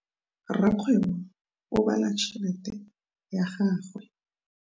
Rakgwêbô o bala tšheletê ya gagwe.